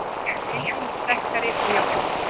Deildin sterkari og jafnari